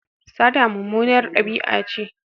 Sata mummunar dabi'a ce.